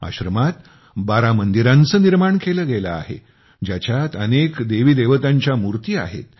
आश्रमात 12 मंदिरांचे निर्माण केले गेले आहे ज्याच्यात अनेक देवीदेवतांच्या मूर्ती आहेत